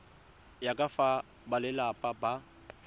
ya ka fa balelapa ba